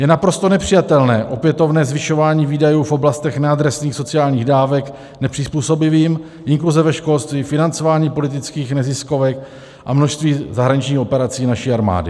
Je naprosto nepřijatelné opětovné zvyšování výdajů v oblastech neadresných sociálních dávek nepřizpůsobivým, inkluze ve školství, financování politických neziskovek a množství zahraničních operací naší armády.